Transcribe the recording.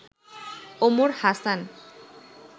Omar Hasan